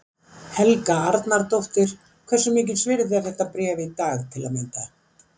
Helga Arnardóttir: Hversu mikils virði er þetta bréf í dag til að mynda?